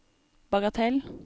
bagatell